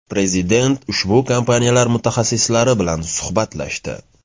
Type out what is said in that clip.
Prezident ushbu kompaniyalar mutaxassislari bilan suhbatlashdi.